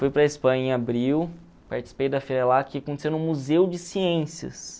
Fui para a Espanha em abril, participei da feira lá, que aconteceu no Museu de Ciências.